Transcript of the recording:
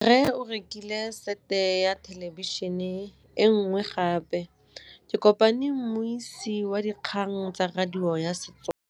Rre o rekile sete ya thêlêbišênê e nngwe gape. Ke kopane mmuisi w dikgang tsa radio tsa Setswana.